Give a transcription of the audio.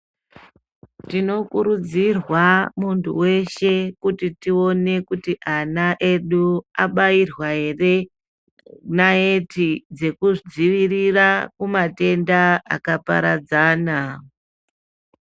Tinokurudzirwa muntu weshe kuti tione kuti ana edu abayirwa ere nayeti dzekudzivirira kumatenda akaparadzana.